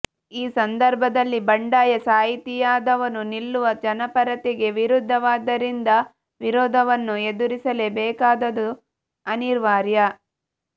ಈ ಸಂದರ್ಭದಲ್ಲಿ ಬಂಡಾಯ ಸಾಹಿತಿಯಾದವನು ನಿಲ್ಲುವ ಜನಪರತೆಗೆ ವಿರುದ್ಧವಾದದ್ದರಿಂದ ವಿರೋಧವನ್ನು ಎದುರಿಸಲೇಬೇಕಾದುದು ಅನಿವಾರ್ಯ